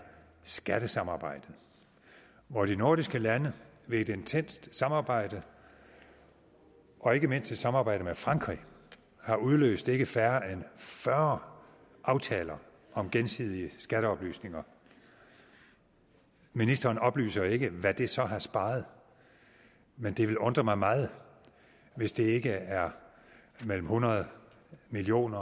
skattesamarbejdet hvor de nordiske lande ved et intenst samarbejde og ikke mindst et samarbejde med frankrig har udløst ikke færre end fyrre aftaler om gensidig udveksling af skatteoplysninger ministeren oplyser ikke hvad det så har sparet men det vil undre mig meget hvis det ikke er mellem hundrede million